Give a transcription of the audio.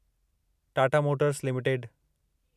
Tata motors limited